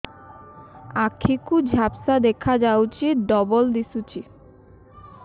ଆଖି କୁ ଝାପ୍ସା ଦେଖାଯାଉଛି ଡବଳ ଦିଶୁଚି